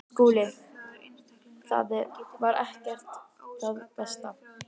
SKÚLI: Það var ekki það versta.